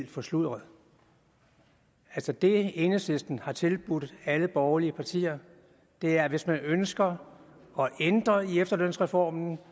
forsludret altså det enhedslisten har tilbudt alle borgerlige partier er at hvis man ønsker at ændre i efterlønsreformen